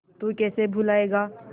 तू कैसे भूलाएगा